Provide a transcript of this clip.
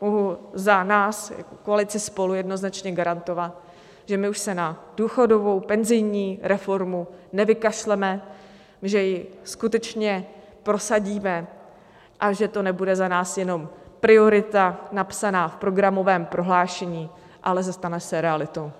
mohu za nás, za koalici SPOLU, jednoznačně garantovat, že my už se na důchodovou, penzijní reformu nevykašleme, že ji skutečně prosadíme a že to nebude za nás jenom priorita napsaná v programovém prohlášení, ale stane se realitou.